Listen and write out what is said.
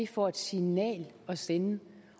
for et signal at sende